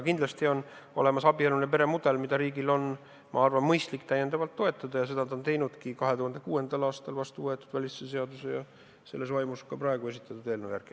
Kindlasti on olemas abieluline peremudel, mida riigil on, ma arvan, mõistlik täiendavalt toetada, ja seda ta on teinudki 2006. aastal vastuvõetud välisteenistuse seaduse ja selles vaimus ka praegu esitatud eelnõu järgi.